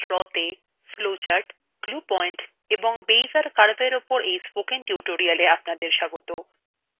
libreoffice drawতে flowcharts glue point এবং beizer curve এর উপর এই spoken tutorialএ আপনাদের স্বাগত